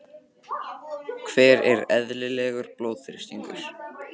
hver er eðlilegur blóðþrýstingur